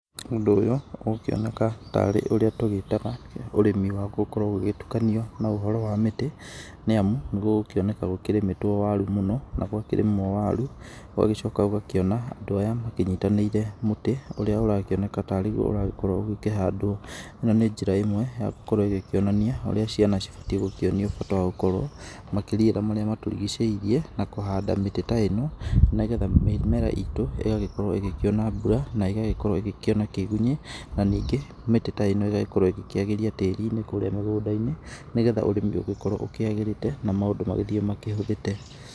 Ũndũ ũyũ ũgũkĩoneka tarĩ ũria tũgĩtaga ũrĩmi wa gũkorwo ũgĩgĩtukania na ũhoro wa mĩtĩ, nĩ amu nĩ gũgũkĩoneka gũkĩrĩmĩtwo waru mũno. Na gwakĩrĩmwo waru gũgacoka ũgakĩona andũ aya makĩnyitanĩire mũtĩ, ũrĩa ũrakĩoneka tarĩguo ũragĩkorwo ũkĩhandwo. ĩno nĩ njĩra ĩmwe ya gũkorwo ĩgĩkĩonania ũrĩa ciana cibatiĩ gũkĩonio bata wa gũkorwo makĩriĩra marĩa matũrigicĩirie na kũhanda mĩtĩ ta ĩno, nĩgetha mĩmera itũ igakorwo ĩgĩkĩona mbura na ĩgagĩkorwo ĩgĩkĩona kĩgunyĩ na ningĩ mĩtĩ ta ĩno ĩgagĩkorwo ĩgĩkĩagĩria tĩri-inĩ kũrĩa mĩgũnda-inĩ, nĩgetha ũrĩmi ũgĩkorwo ũkĩagĩrĩte na maũndũ magĩthiĩ makĩhũthĩte.